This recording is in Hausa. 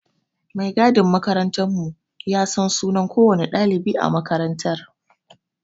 Mai gadin makarantar mu ya san sunan kowanne ɗalibi a makarantar